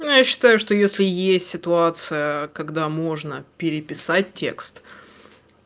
ну я считаю если есть ситуация когда можно переписать текст